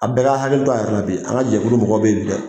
A bɛɛ ka hakili to a yɛrɛ bi, an ka jɛkulu mɔgɔw bɛ yen bi dɛ.